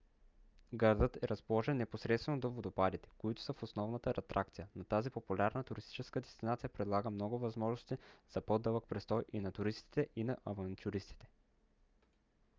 градът е разположен непосредствено до водопадите които са основната атракция но тази популярна туристическа дестинация предлага много възможности за по-дълъг престой и на туристите и на авантюристите